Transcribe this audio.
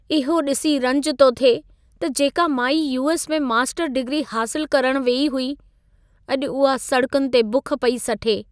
इहो ॾिसी रंज थो थिए त जेका माई यू.एस. में मास्टर डिग्री हासिलु करणु वेई हुई, अॼु उहा सड़कुनि ते बुख पेई सठे!